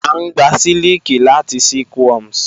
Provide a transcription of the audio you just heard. A ngbà sílikì látì silkworms.